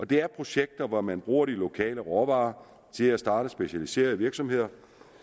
det er projekter hvor man bruger de lokale råvarer til at starte specialiserede virksomheder